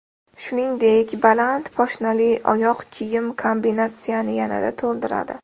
Shuningdek, baland poshnali oyoq kiyim kombinatsiyani yanada to‘ldiradi.